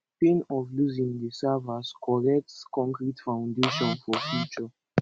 pain of losing dey serve as correct konkrete foundation for future